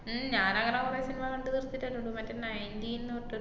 ഉം ഞാനങ്ങനെ കൊറേ സിനിമ കണ്ട് തീര്‍ത്തിട്ടല്ലേള്ളു മറ്റേ nineteen ന്ന് പറഞ്ഞിട്ട്.